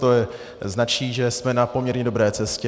To značí, že jsme na poměrně dobré cestě.